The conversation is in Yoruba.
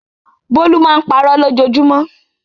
Bólú máa ń parọ́ lójoojúmọ́.